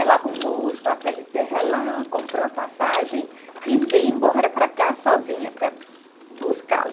Ela arrumou os papéis dela, comprou a passagem e veio embora para cá sozinha, para buscá-lo.